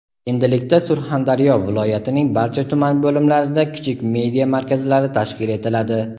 Endilikda Surxondaryo viloyatining barcha tuman bo‘limlarida kichik media markazlari tashkil etiladi.